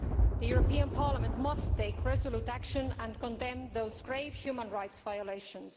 The European Parliament must take resolute action and condemn these grave human rights violations.